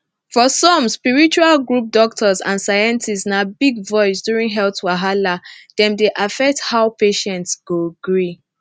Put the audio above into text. for some spiritual group doctors and scientists na big voice during health wahala dem dey affect how patient go gree